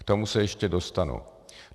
K tomu se ještě dostanu.